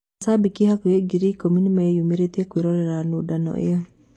Macambĩki hakuhĩ ngiri ikũmi nĩ meyumĩrĩtie kũĩrorera nũndano ĩyo.